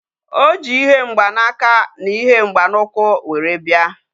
Oji ihe mgba na aka na ihe mgba na ukwu were bia